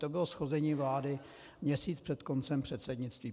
To bylo shození vlády měsíc před koncem předsednictví.